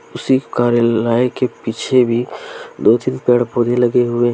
उसी कार्यलाय के पीछे भी पेड़ पौधे लगे हुए।